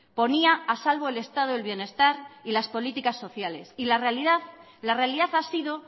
ponía a salvo elestado del bienestar y las políticas sociales y la realidad ha sido